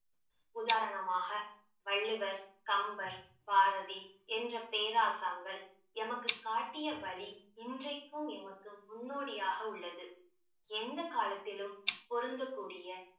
உதாரணமாக வள்ளுவர், கம்பர், பாரதி என்ற பேராசங்கள் எமக்கு காட்டிய வழி இன்றைக்கும் எமக்கு முன்னோடியாக உள்ளது எந்த காலத்திலும் பொருந்தக்கூடிய